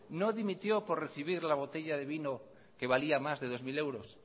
no dimitió por recibir la botella que valía más de dos mil euros